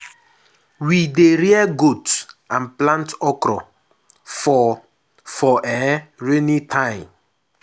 we dey rear goat and plant okro for for um rainy time.